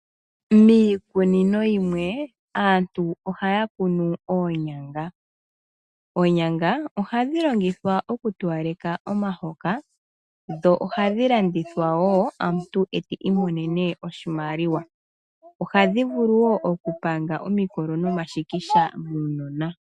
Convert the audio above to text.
Miikunino yimwe aantu ohaya kunu oonyanga. Oonyanga ohadhi longithwa okutowaleka omahoka sho ohadhi landithwa woo omuntu eti imonene oshimaliwa. Ohadhi vulu woo okulanga omikolo no mashikisha muunona